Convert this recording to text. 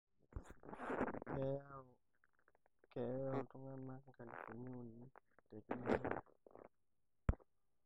keyaau keeya oltungana inkalifuni uni tekila olari.